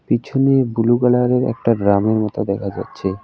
পিছনে বুলু কালারের একটা গ্রামের মতো দেখা যাচ্ছে।